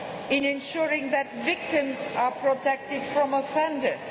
in ensuring that victims are protected from offenders